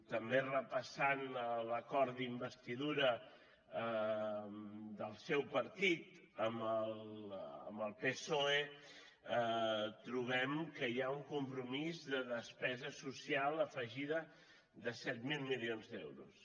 també repassant l’acord d’investidura del seu partit amb el psoe trobem que hi ha un compromís de despesa social afegida de set mil milions d’euros